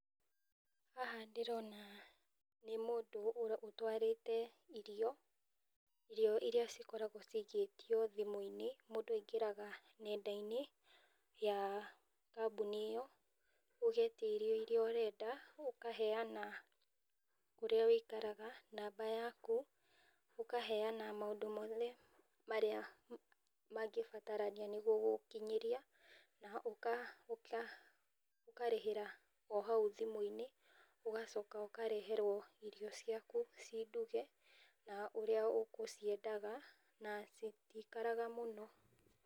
Haha ndĩrona nĩ mũndũ ũtwarĩte irio ,irio iria cikoragwo cikĩtio thimũ-inĩ , mũndũ aingĩraga nenda-inĩ cia kambũni ĩyo, ũgetia irio iria ũrenda, ũkahena kũrĩa wĩikaraga, namba yaku, ũkaheana maũndũ mothe, marĩa mangĩbatarania nĩguo gũgũkinyiria, na ũkarĩhĩra hau thimũ-inĩ , ũgacoka ũkareherwo irio ciaku cinduge, na ũrĩa ũgũciendaga na citikaraga mũno.